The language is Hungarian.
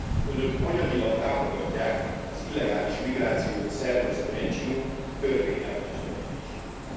Önök anyagilag támogatják az illegális migrációt szervező NGO k törvényellenes tevékenységét.